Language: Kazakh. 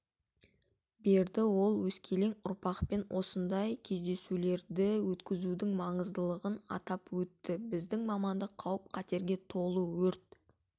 берді ол өскелең ұрпақпен осындай кездесулерді өткізудің маңыздылығын атап өтті біздің мамандық қауіп-қатерге толы өрт